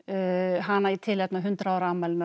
hana í tilefni af hundrað ára afmælinu